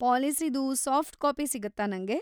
ಪಾಲಿಸಿದು soft copy ಸಿಗತ್ತಾ ನಂಗೆ?